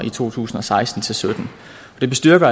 i to tusind og seksten til sytten det bestyrker